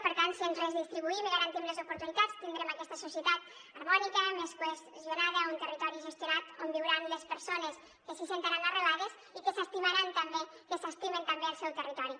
per tant si ens redistribuïm i garantim les oportunitats tindrem aquesta societat harmònica més cohesionada a un territori gestionat on viuran les persones que s’hi sentiran arrelades i que s’estimaran també que s’estimen també el seu territori